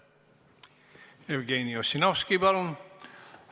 Jevgeni Ossinovski, palun!